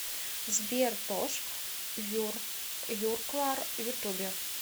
сбер тош юрклар ютубе